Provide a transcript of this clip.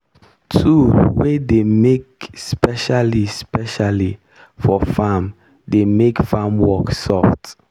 tool wey dey make specially specially for farm dey make farm work soft.